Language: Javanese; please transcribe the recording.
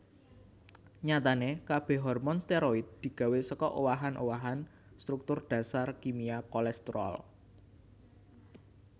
Nyatané kabéh hormon steroid digawé saka owahan owahan struktur dasar kimia kolesterol